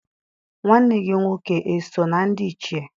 Nwanne gị nwoke eso na ndị Ichie?